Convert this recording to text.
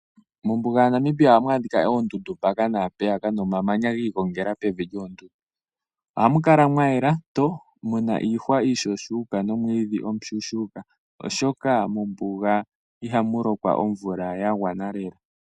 Mombuga ya Namibia ohamu adhika oondundu mpaka naampeyaka nomamanya gi igongela pevi lyoondundu. Ohamu mu kala mwayela muna iihwa iishuushuuka nomwiidhi omushushuuka oshoka mombuga ihamu lokwa omvula ya gwana lela.